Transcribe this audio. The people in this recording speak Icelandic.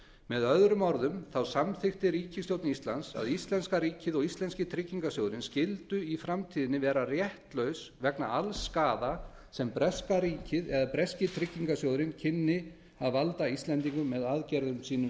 með öðrum orðum samþykkti ríkisstjórn íslands að íslenska ríkið og íslenski tryggingarsjóðurinn skyldu í framtíðinni vera réttlaus vegna alls skaða sem breska ríkið eða breski tryggingarsjóðurinn kynni að valda íslendingum með aðgerðum sínum